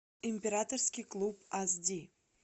императорский клуб ас ди